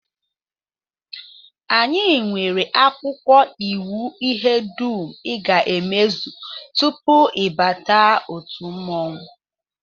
Anyị nwere akwụkwọ iwu ihe dum I ga-emezu tupu ị bata otu mmọnwụ